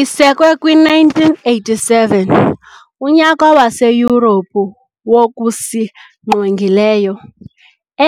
Isekwe kwi-1987, uNyaka waseYurophu wokusiNgqongileyo,